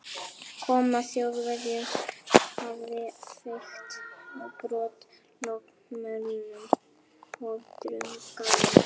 Koma Þjóðverjans hafði feykt á brott lognmollunni og drunganum.